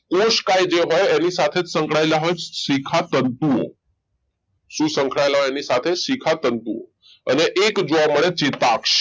કોષ કા એક જે હોય એની સાથે સાથે સંકળાયેલા હોય જ શિખા તંતુ સંકળાયેલા એની સાથે શિખા તંતુ અને એક જોવા મળે ચેતાક્ષ